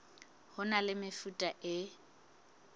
ho na le mefuta e